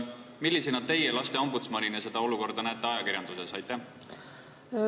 Millisena teie lasteombudsmanina seda olukorda ajakirjanduses näete?